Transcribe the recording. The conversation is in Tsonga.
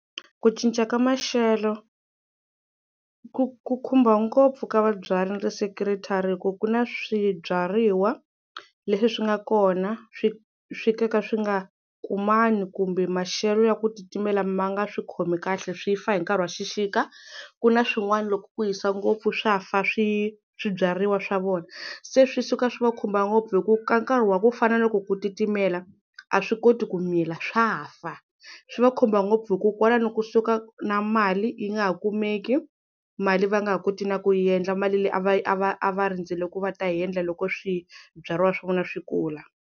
Ku cinca ka maxelo ku ku khumba ngopfu ka va byarile hi ku ku na swibyariwa leswi swi nga kona swi swi ka ka swi nga kumani kumbe maxelo ya ku titimela ma nga swi khomi kahle swi fa hi nkarhi wa xixika ku na swin'wana loko ku hisa ngopfu swa fa swi swibyariwa swa vona se swi suka swi va khumba ngopfu hi ku ka nkarhi wa ku fana na loko ku titimela a swi koti ku mila swa fa swi va khumba ngopfu hi ku kwalano kusuka na mali yi nga ha kumeki mali va nga ha koti na ku yi endla mali leyi a va a va a va rindzerile ku va ta yi endla loko swibyariwa swa vona swi kula.